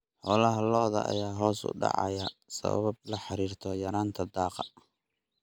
Xoolaha lo'da ayaa hoos u dhacaya sabab la xiriirta yaraanta daaqa.